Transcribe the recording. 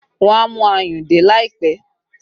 Wọn a mú ayùn dé láìpẹ́